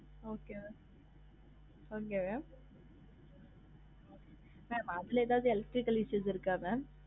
Okay mam அங்க mam அதுல எதாவது electrically issues இருக்க mam?